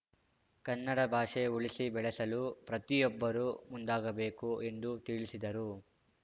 ಕನ್ನಡ ಭಾಷೆ ಉಳಿಸಿ ಬೆಳೆಸಲು ಪ್ರತಿಯೊಬ್ಬರೂ ಮುಂದಾಗಬೇಕು ಎಂದು ತಿಳಿಸಿದರು